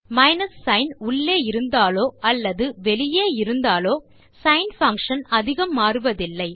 minus sign உள்ளே இருந்தாலோ அல்லது வெளியே இருந்தாலோ சின் பங்ஷன் அதிகம் மாறுவதில்லை